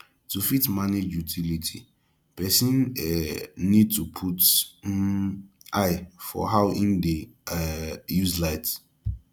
to fit manage utility person um need to put um eye for how im dey um use light